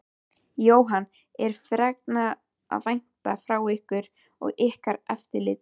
Jóhann: Er fregna að vænta frá ykkur og ykkar eftirliti?